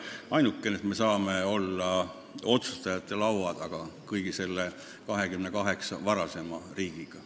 Ainukene muutus on, et me saame olla otsustajate laua taga koos kõigi nende 28 riigiga.